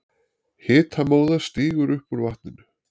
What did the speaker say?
Hitamóða stígur upp úr vatninu.